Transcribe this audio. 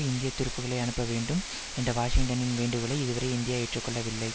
இந்திய துருப்புக்களை அனுப்பவேண்டும் என்ற வாஷிங்டனின் வேண்டுகோளை இதுவரை இந்தியா ஏற்று கொள்ளவில்லை